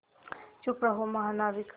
चुप रहो महानाविक